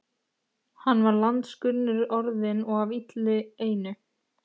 Hann var landskunnur orðinn og af illu einu.